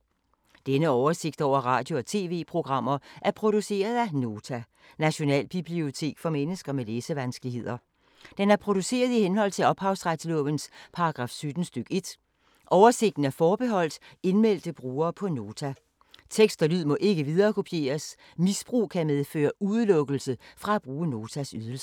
Denne oversigt over radio og TV-programmer er produceret af Nota, Nationalbibliotek for mennesker med læsevanskeligheder. Den er produceret i henhold til ophavsretslovens paragraf 17 stk. 1. Oversigten er forbeholdt indmeldte brugere på Nota. Tekst og lyd må ikke viderekopieres. Misbrug kan medføre udelukkelse fra at bruge Notas ydelser.